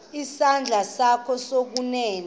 isandla sakho sokunene